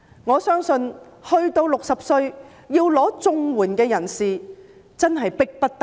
我相信到了60歲而要申領綜援的人士真的是迫不得已。